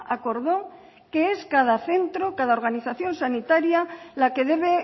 acordó qué es cada centro cada organización sanitaria la que debe